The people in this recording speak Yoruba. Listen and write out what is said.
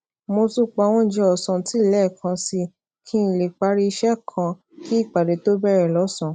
mo tún pa oúnjẹ òsán tì léèkan sí i kí n lè parí iṣé kan kí ìpàdé tó bèrè lósànán